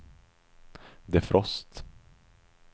defrost